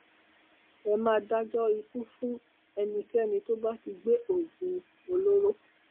ẹ máa dájọ ikú fún ẹnikẹni tó bá ti gbé oògùn olóró